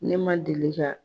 Ne man deli ka